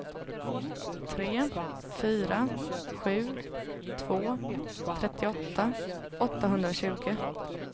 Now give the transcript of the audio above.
tre fyra sju två trettioåtta åttahundratjugo